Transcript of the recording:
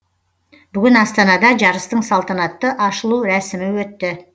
бүгін астанада жарыстың салтанатты ашылу рәсімі өтті